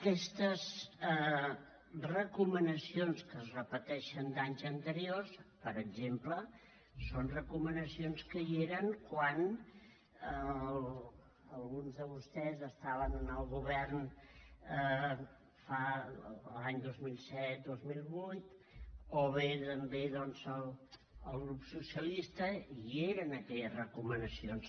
aquestes recomanacions que es repeteixen d’anys anteriors per exemple són recomanacions que hi eren quan alguns de vostès estaven en el govern l’any dos mil set dos mil vuit o bé també el grup socialista i hi eren aquestes recomanacions